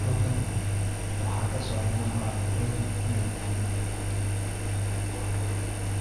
Halkan waxa kasocda ama anku qexii iney tahay